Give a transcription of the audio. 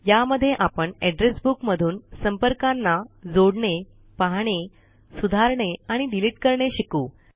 या मध्ये आपण एड्रेस बुक मधून संपर्कांना जोडणे पाहणे सुधारणे आणि डिलीट करणे शिकू